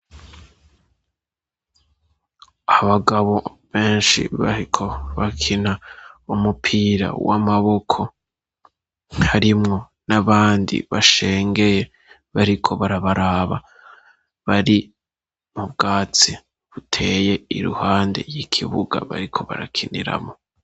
Abagabo benshi bariko bakina umupira w'amaboko harimwo n'abandi bashengeye bariko barabaraba bari mu bwatsi buteye iruhande y'ikibuga bariko barakiniramwo.